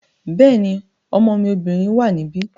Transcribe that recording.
Bẹ́ẹ̀ni, ọmọ mi obìnrin wà níbí